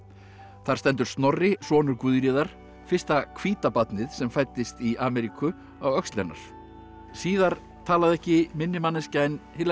þar stendur Snorri sonur Guðríðar fyrsta hvíta barnið sem fæddist í Ameríku á öxl hennar síðar talaði ekki minni manneskja en Hillary